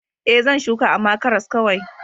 E, zan shuka, amma karas kawai.